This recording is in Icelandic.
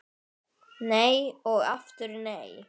Nei og aftur nei!